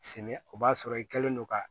Sɛnɛ o b'a sɔrɔ i kɛlen don ka